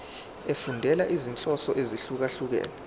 efundela izinhloso ezahlukehlukene